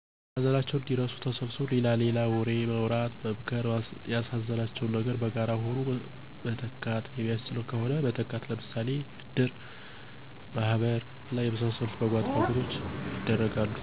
ሀዘናቸውን እንዲረሱ ተሰብስቦ ሌላ ሌላ ወሬ ማውራት፣ መምክር፣ ያሳዘናቸውን ነገር በጋራ ሆኖ መተካት የሚቻል ከሆነ መተካት ለምሳሌ እድር፣ ማህበር እና የመሳሰሉት በጎ አድራጎቶች ይደረጋሉ።